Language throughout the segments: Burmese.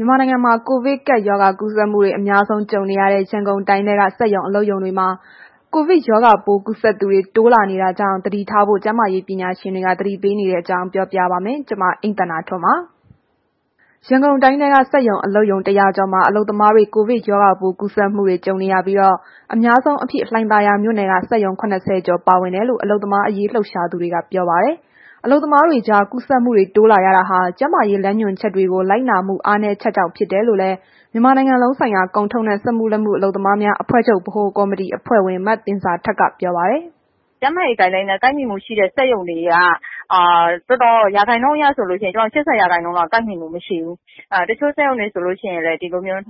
မြန်မာနိုင်ငံမှာ ကိုဗစ်ကပ်ရောဂါ ကူးစက်မှုတွေ အများဆုံးကြုံနေရတဲ့ ရန်ကုန်တိုင်းထဲက စက်ရုံအလုပ်ရုံတွေမှာ ရောဂါပိုးကူးစက်သူတွေ တိုးလာနေတာကြောင့် သတိထားဖို့ ကျန်းမာရေးပညာရှင်တွေ သတိပေးနေတဲ့အကြောင်းကို ဗွီအိုအေမြန်မာပိုင်း သတင်းထောက် မအိမ့်သန္တာထွန်းက ပြောပြပါမယ်။ ရန်ကုန်တိုင်းထဲက စက်ရုံ၊ အလုပ်ရုံ ၁၀၀ ကျော်မှာ အလုပ်သမားတွေ ကိုဗစ်ရောဂါပိုး ကူးစက်မှုတွေ ကြုံနေရပြီး၊ အများဆုံးအဖြစ် လှိုင်သာယာမြို့နယ်က စက်ရုံ ၇၀ ကျော်ပါဝင်ကြောင်း အလုပ်သမားရေး လှုပ်ရှားသူတွေက ပြောပါတယ်။ အလုပ်သမားတွေကြား ကူးစက်မှုတွေ တိုးလာရတာဟာ ကျန်းမာရေးလမ်းညွှန်ချက်တွေကို လိုက်နာမှု အားနည်းချက်ကြောင့် ဖြစ်တယ်လို့လည်း မြန်မာနိုင်ငံလုံးဆိုင်ရာ ကုန်ထုတ်နဲ့ စက်မှုလက်မှု အလုပ်သမားများအဖွဲ့ချုပ် ဗဟိုကော်မတီအဖွဲ့ဝင် မသင်ဇာထက်က ပြောပါတယ်။ “ကျန်းမာရေး Guideline နဲ့ ကိုက်ညီမှုရှိတဲ့ စက်ရုံတွေက ရာခိုင်နှုန်းအရဆိုရင် ၈၀ ရာခိုင်နှုန်းလောက် ကိုက်ညီမှု မရှိဘူး။ တချို့စက်ရုံတွေဆိုရင် တစ်နေ့ကို နှစ်ယောက်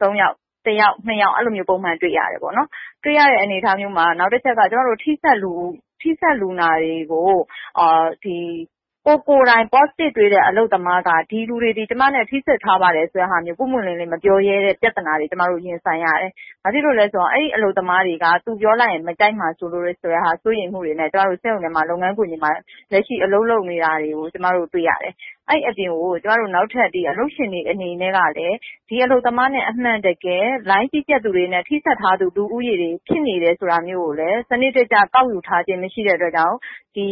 သုံးယောက်၊ တစ်ယောက်၊ နှစ်ယောက် အဲ့လိုမျိုးပုံမှန် တွေ့ရတယ်ပေါ့နော်။ တွေ့ရတဲ့ အခြေအနေမျိုးမှာ နောက်တစ်ချက်က ထိစပ်လူနာတွေကို ကိုယ်ကိုယ်တိုင် Positive တွေ့တဲ့ အလုပ်သမားက ဒီလူတွေသည် ကျမနဲ့ ထိစပ်ထားပါတယ်ဆိုတဲ့ဟာမျိုး ပွင့်ပွင့်လင်းလင်းမပြောရဲတဲ့ ပြသနာတွေ ကျမတို့ ရင်ဆိုင်ရပါတယ်။ ဘာဖြစ်လို့လဲဆိုတော့ အဲ့ဒီ အလုပ်သမားတွေက သူတို့ပြောလိုက်ရင် မကြိုက်မှာစိုးလို့ ဆိုတဲ့ဟာမျိုးနဲ့ စက်ရုံထဲမှာ လုပ်ငန်းခွင် တွေမှာ လက်ရှိအလုပ်လုပ်နေတာတွေကို ကျမတို့တွေ့ရတယ်။ အဲ့ဒီအပြင် ကို နောက်ထပ် ကျမတို့ အလုပ်ရှင်တွေအနေနဲ့ကလည်း ဒီအလုပ်သမားနဲ့ အမှန်တကယ်၊ လိုင်းကြီး ကြပ်သူတွေနဲ့ ထိစပ်ထား သူတွေ ဖြစ်နေတယ်ဆိုတာမျိုးကိုလည်း စနစ်တကျကောက်ယူထာားခြင်း မရှိတဲ့အတွက်ကြောင့် ဒီ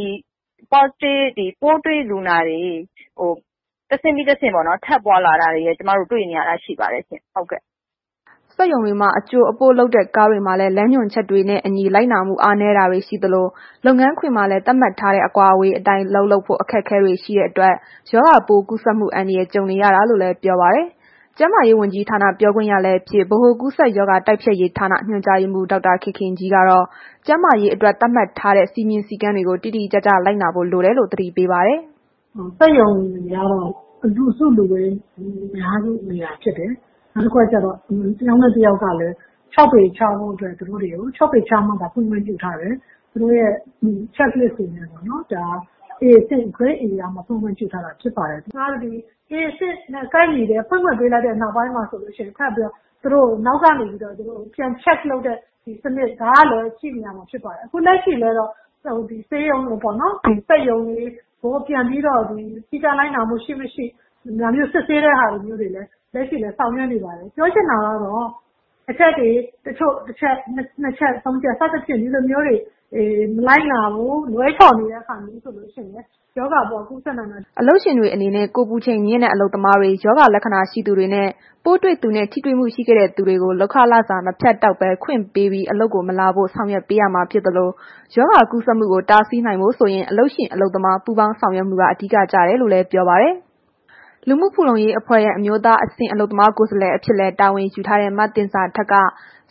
ပိုးတွေ့လူနာတွေ တဆင့်ပြီးတဆင့် ထပ်ပွားလာတာတွေ တွေ့နေရတာရှိပါတယ်ရှင်။” စက်ရုံတွေမှာ အကြိုအပို့လုပ်တဲ့ ကားတွေမှာလည်း လမ်းညွှန်ချက်တွေကို လိုက်နာမှု အားနည်းတာတွေ ရှိသလို လုပ်ငန်းခွင်မှာလည်း သတ်မှတ်ထားတဲ့ အကွာအဝေးအတိုင်း အလုပ်လုပ်ဖို့ အခက်အခဲတွေ ရှိနေတဲ့အတွက် ရောဂါကူးစက်မှု အန္တရာယ် ကြုံနေရတာလို့လည်း ပြောပါတယ်။ ကျန်းမာရေးဝန်ကြီးဌာန ပြောခွင့်ရလည်းဖြစ် ဗဟိုကူးစက်ရောဂါတိုက်ဖျက်ရေးဌာန ညွန်ကြားရေးမှုး ဒေါက်တာခင်ခင်ကြီးကတော့ ကျန်းမာရေးအတွက် သတ်မှတ်ထားတဲ့ စည်းမျဉ်းစည်းကမ်းတွေကို တိတိကျကျ လိုက်နာဖို့လိုတယ်လို့ သတိပေးပါတယ်။ “စက်ရုံတွေက လူစုလူဝေးများတဲ့နေရာဖြစ်တယ်။ နောက်တစ်ခုက တစ်ယောက်နဲ့တစ်ယောက်ကလည်း ၆ ပေခြားမှသာ ဖွင့်ခွင့်ပြုထားတယ်။ သူတို့ရဲ့ Check List ကို Grade Aရမှသာ ဖွင့်ခွင့်ပြု ထားတယ်။ ဒါအပြင့် A အဆင့်နဲ့ ကိုက်ညီလို့ ဖွင့်ခွင့်ပေးလိုက်တဲ့ နောက်ပိုင်းမှာလည်း သူတို့ကို နောက်ကနေပြီးတော့ ပြန် Check လုပ်တဲ့ စနစ် ဒါကလည်းရှိနေရမှာဖြစ်ပါတယ်။ ခုလက်ရှိလည်း တော့ စက်ရုံတွေကို စည်းကမ်းလိုက်နာမှု ရှိ၊ မရှိ ဒါမျိုး စစ်ဆေးတဲ့ဟာမျိုးတွေလည်း လက်ရှိလည်း ဆောင်ရွက်နေပါတယ်။ ပြောချင်တာကတော့ အချက်တွေ တချို့ တစ်ချက် နှစ်ချက် ဒါမျိုးတွေ မလိုက်နာဘူး၊ လွဲချော်နေတယ်ဆိုရင် ရောဂါပိုးက ကူးစက်နိုင်မယ်။” အလုပ်ရှင်တွေအနေနဲ့ ကိုယ်ပူချိန်မြင့်နေတဲ့ အလုပ်သမားတွေ၊ ရောဂါလက္ခဏာရှိတဲ့သူတွေနှင့် ပိုးတွေ့သူနဲ့ ထိတွေ့မှုရှိခဲ့တဲ့သူတွေကို လုပ်ခလစာ မဖြတ်တောက်ဘဲ ခွင့်ပေးပြီး အလုပ်ကို မလာစေဖို့ ဆောင်ရွက်ပေးရမှာဖြစ်သလို ရောဂါကူးစက်မှုကို တားဆီးနိုင်ဖို့ဆိုရင် အလုပ်ရှင် အလုပ်သမား ပူးပေါင်းဆောင်ရွက်မှုက အဓိကကျတယ်လို့လည်း ပြောပါတယ်။ လူမှုဖူလုံရေးအဖွဲ့ရဲ့ အမျိုးသားအဆင့် အလုပ်သမားကိုယ်စားလှယ်အဖြစ်လည်း တာဝန်ယူထားတဲ့ မသင်ဇာထက်က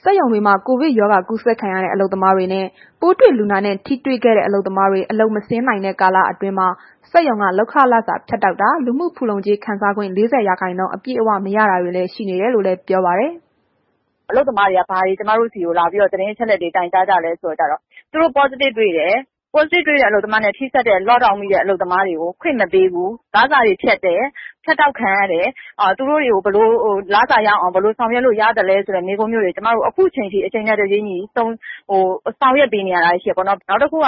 စက်ရုံတွေမှာ ကိုဗစ်ကူးစက်ခံရတဲ့အလုပ်သမားတွေနှင့် ပိုးတွေ့လူနာနဲ့ ထိတွေ့ခဲ့တဲ့ အလုပ်သမားတွေ အလုပ်မဆင်း နိုင်တဲ့ကာလအတွင်းမှာ စက်ရုံက လုပ်ခလစာဖြတ်တောက်တာ၊ လူမှုဖူလုံကြေး ခံစားခွင့် ၄၀ ရာခိုင်းနှုန်း အပြည့်အဝမရတာတွေလည်း ရှိနေတယ်လို့ ပြောပါတယ်။ “အလုပ်သမားတွေက ဘာတွေ ကျမတို့ဆီလာပြီး သတင်းအချက်အလက်တွေ တိုင်ကြားကြလဲဆို တော့ သူတို့ Positive တွေ့တယ်။ Positive တွေ့တဲ့အလုပ်သမားတွေနဲ့ ထိစပ်တဲ့ Lock down မိတဲ့ အလုပ်သမားတွေကို ခွင့်မပေးဘူး၊ လစာတွေဖြတ်တယ်။ ဖြတ်တောက်ခံရတဲ့ လစာတွေကို ရအောင် ဘယ်လိုဆောင်ရွက်လို့ရသလဲ ဆိုတဲ့ မေးခွန်းတွေ ကျွန်မတို့ ခုချိန်ထိ အချိန်နဲ့တပြေးညီ ဆောင်ရွက်ပေးနေတာတွေ ရှိတယ်ပေါ့နှော်။ နောက်တစ်ခုက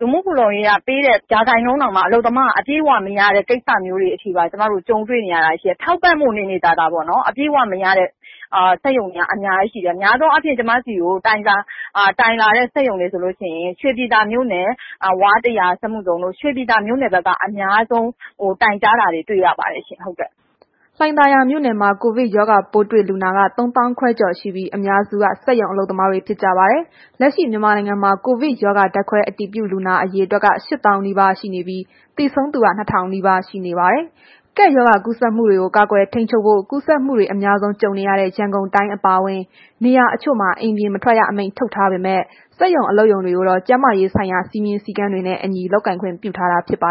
လူမှုဖူလုံရေးက ပေးတဲ့ ရာခိုင်နှုန်းတောင်မှာ အလုပ်သမားက အပြည့်အဝမရတဲ့ ကိစ္စမျိုးတွေအထိပါ ကြုံတွေနေရတာရှိတယ်။ ထောက်ပံ့ဖို့နေနေသာသာ ပေါ့နော်။ အပြည့်အဝမရတဲ့ စက်ရုံတွေ အများကြီးရှိတယ်။ များသောအားဖြင့် ကျမတို့ဆီကို တိုင်လာတဲ့ စက်ရုံတွေဆိုလို့ရှိရင် ရွှေပြည်သာမြို့နယ် ဝါးတစ်ရာ စက်မှုဇုန်တို့ ရွှေပြည်သာမြို့နယ်က အများဆုံး တိုင်ကြားတာတွေ တွေ့ရပါတယ်ရှင်။” လှိုင်သာယာမြို့နယ်မှာ ကိုဗစ်ရောဂါပိုးတွေ့လူနာက ၃၅,၀၀၀ ကျော်ရှိပြီး အများစုက စက်ရုံအလုပ်သမားတွေဖြစ်ကြပါတယ်။ လက်ရှိ မြန်မာနိုင်ငံမှာ ကိုဗစ်ရောဂါ ဓာတ်ခွဲအတည်ပြုလူနာ အရေအတွက်က ၈၀,၀၀၀ နီးပါးရှိနေပြီး သေဆုံးသူက ၂,၀၀၀ နီးပါးရှိနေပါတယ်။ ကပ်ရောဂါကူးစက်မှုတွေကို ကာကွယ်ထိန်းချုပ်ဖို့ ကူးစက်မှုတွေ အများဆုံး ကြုံနေရတဲ့ ရန်ကုန်တိုင်းအပါအဝင် နေရာတချို့မှာ အိမ်ပြင်မထွက်ရ အမိန့်ထုတ်ထားပေမဲ့ စက်ရုံအလုပ်ရုံတွေကိုတော့ ကျန်းမာရေးဆိုင်ရာ စည်းမျဉ်းစည်းကမ်းတွေနဲ့အညီ လုပ်ကိုင်ခွင့်ပြုထားတာ ဖြစ်ပါ